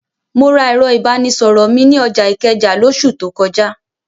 Mo ra ẹ̀rọ ìbánisọ̀rọ̀ mi ní ọjà Ìkẹjà lóṣù tó kọjá.